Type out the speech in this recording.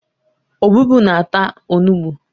Ọbụbụụ na-ata onugbu